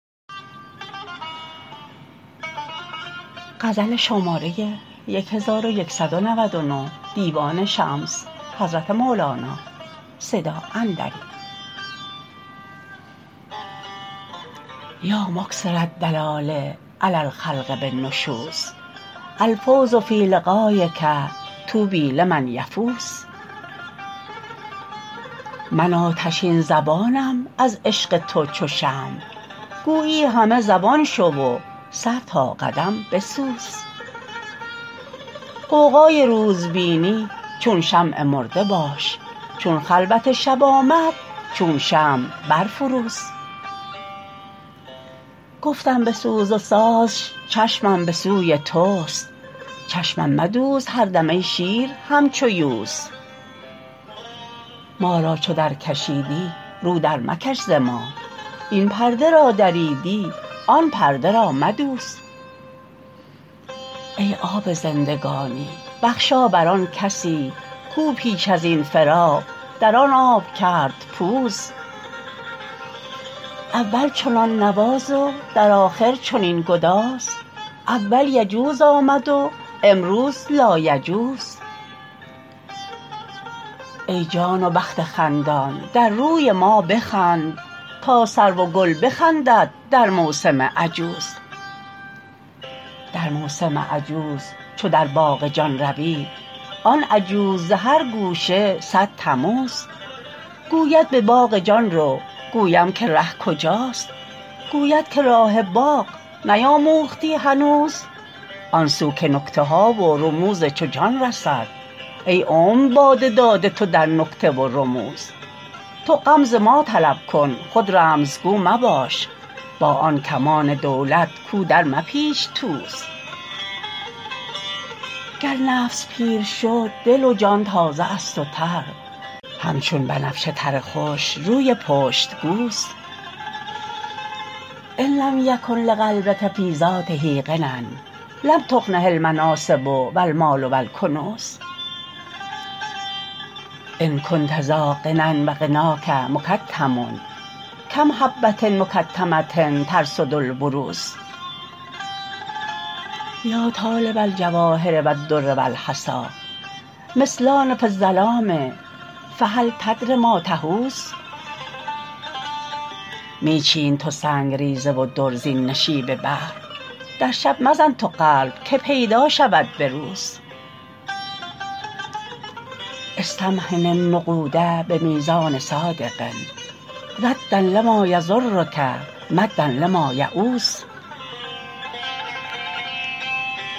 یا مکثر الدلال علی الخلق بالنشوز الفوز فی لقایک طوبی لمن یفوز من آتشین زبانم از عشق تو چو شمع گویی همه زبان شو و سر تا قدم بسوز غوغای روز بینی چون شمع مرده باش چون خلوت شب آمد چون شمع برفروز گفتم بسوز و سازش چشمم به سوی توست چشمم مدوز هر دم ای شیر همچو یوز ما را چو درکشیدی رو درمکش ز ما این پرده را دریدی آن پرده را مدوز ای آب زندگانی بخشا بر آن کسی کو پیش از این فراق در آن آب کرد پوز اول چنان نواز و در آخر چنین گداز اول یجوز آمد و امروز لایجوز ای جان و بخت خندان در روی ما بخند تا سرو و گل بخندد در موسم عجوز در موسم عجوز چو در باغ جان روی بنماید آن عجوز ز هر گوشه صد تموز گوید به باغ جان رو گویم که ره کجاست گوید که راه باغ نیاموختی هنوز آن سو که نکته ها و رموز چو جان رسد ای عمر باد داده تو در نکته و رموز تو غمز ما طلب کن خود رمزگو مباش با آن کمان دولت کو درمپیچ توز گر نفس پیر شد دل و جان تازه است و تر همچون بنفشه تر خوش روی پشت گوز ان لم یکن لقلبک فی ذاته غنی لم تغنه المناصب و المال و الکنوز ان کنت ذا غنی و غناک مکتم کم حبه مکتمه ترصد البروز یا طالب الجواهر و الدر و الحصی مثلان فی الظلام فهل تدر ما تحوز می چین تو سنگ ریزه و در زین نشیب بحر در شب مزن تو قلب که پیدا شود به روز استمحن النقود به میزان صادق ردا لما یضرک مدا لما یعوز